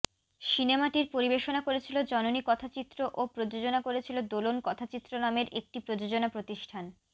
সিনেমাটির পরিবেশনা করেছিল জননী কথাচিত্র ও প্রযোজনা করেছিল দোলন কথাচিত্র নামের একটি প্রযোজনা প্রতিষ্ঠান